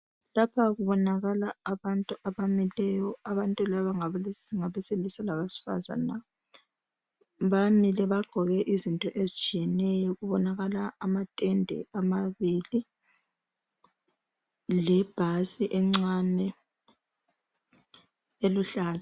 Lapha kubonakala abantu abamileyo abantu laba ngabesilisa labesifazana. Bamile bagqoke izinto ezitshiyeneyo. Kubonakala amatende amabili lebhasi encane eluhlaza